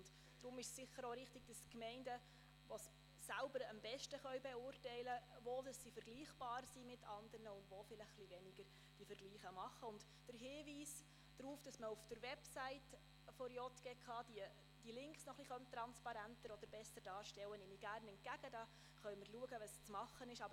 Deshalb ist es sicher auch richtig, dass die Gemeinden, die Vergleiche selbst anstellen, denn sie können am besten beurteilen, wo sie mit anderen Gemeinden vergleichbar sind und wo etwas weniger.